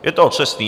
Je to přesné.